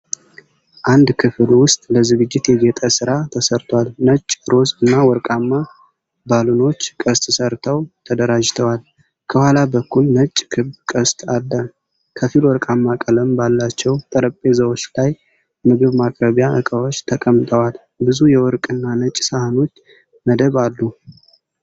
አንድ ክፍል ውስጥ ለዝግጅት የጌጥ ሥራ ተሰርቷል። ነጭ፣ ሮዝ እና ወርቃማ ባሉኖች ቅስት ሰርተው ተደራጅተዋል። ከኋላ በኩል ነጭ ክብ ቅስት አለ። ከፊል ወርቃማ ቀለም ባላቸው ጠረጴዛዎች ላይ ምግብ ማቅረቢያ ዕቃዎች ተቀምጠዋል። ብዙ የወርቅ እና ነጭ ሳህኖች መደብ አሉ።